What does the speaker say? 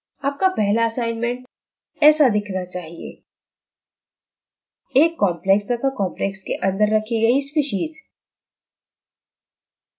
आपका पहला असाइनमेंट ऐसा दिखना चाहिए: एक complex तथा complex के अंदर रखी गई species